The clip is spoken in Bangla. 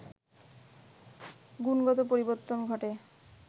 গুণগত পরিবর্তন ঘটে